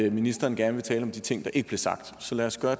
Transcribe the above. at ministeren gerne vil tale om de ting der ikke blev sagt så lad os gøre